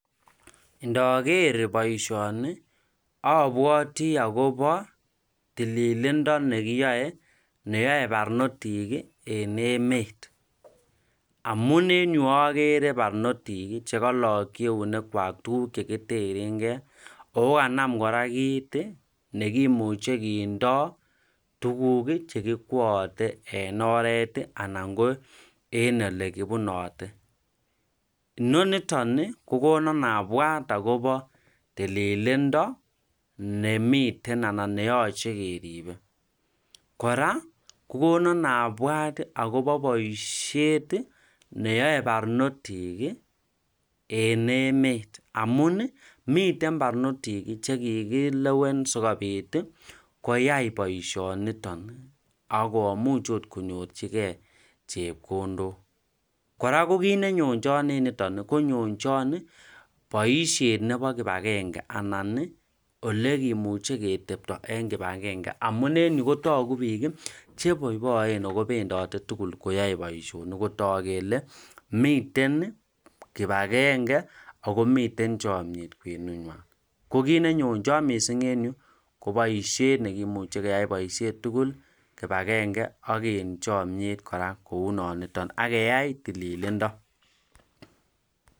ndogeer boishoni obwoti agobo tililindo negiyoe neyoe barnotiik iih en emet, amun en yu ogere barnotik chegolokyi eunek kwaaktuguk chegiterengee ooh kanam kora kiit iih negimuche kora kindoo tuguk chekiwoote en oreet iih ana ko en elegibunote, noniton iih kogonon abwaat agobo tililindo nemiten anan neyoche keribe , koraa kogonon abwart iih agobo boishet iih neyoe barnotiki iiih en met amuun ih miten barnotik chekigilewen sigobiit iih koyai boishoniton ak komuuch oot konyorchigee chepkondook, koraa ko kiit nenyonchon en niton konyonchon boishet nebo kipagenge anan iih elekimuche ketepto en kipagenge amuun en yuu kotogu biik iih cheboiboen ago bendote tugul koyoe boishonik kotook kele miten kipagenge ago miten chomyeet kwenenywaan, ko kiit nenyonchon mising en yuu ko boishet neegimuche keyai boishet tugul kipagenge ak en chomyeet kora kouu non iton ak keyai tililindo.